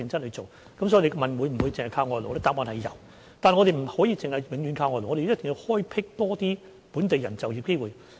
答案是有輸入外勞，但我們不能夠只是永遠依靠外勞，一定要開闢多些本地人就業機會。